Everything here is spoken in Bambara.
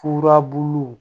Furabulu